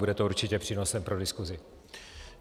Bude to určitě přínosem pro diskusi.